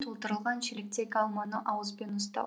толтырылған шелектегі алманы ауызбен ұстау